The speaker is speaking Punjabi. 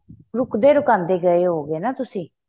ਰੁੱਕਦੇ ਰਕਾਂਦੇ ਗਏ ਹੋਵੇਗੇ ਤੁਸੀਂ